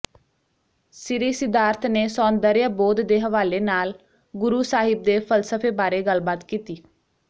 ਸ੍ਰੀ ਸਿਧਾਰਥ ਨੇ ਸੌਂਦਰਯ ਬੋਧ ਦੇ ਹਵਾਲੇ ਨਾਲ ਗੁਰੂ ਸਾਹਿਬ ਦੇ ਫਲਸਫੇ ਬਾਰੇ ਗੱਲਬਾਤ ਕੀਤੀ